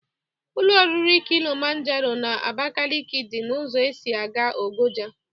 Ụlọ oriri kịlịmanjero n'Abakeleke dị n'ụzọ esi aga Ogoja.